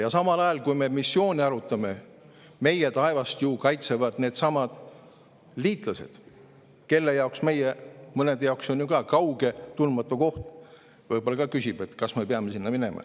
Ja samal ajal, kui me missioone arutame, kaitsevad meie taevast ju needsamad liitlased, kellest mõne jaoks ju ka kauge tundmatu koht, võib-olla mõni küsib ka, kas ikka peab sinna minema.